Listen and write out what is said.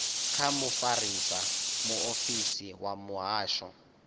kha mufarisa muofisiri wa muhasho